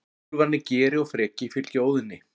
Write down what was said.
Úlfarnir Geri og Freki fylgja Óðni.